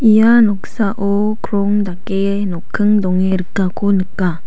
ia noksao krong dake nokking donge rikako nika.